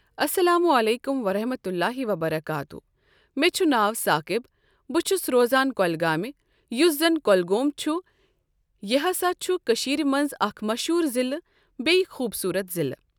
السلام عليكم ورحمة الله وبركاته مےٚ چُھ ناو ساقِب۔ بہٕ چھُس روزان کۄلگامہِ یُس زَن کۄلگوم چھُ یہِ ہسا چھُ کٔشیٖر منٛز اَکھ مشہوٗر ضِلعہ بیٚیہِ خوٗبصوٗرَت ضِلعہ۔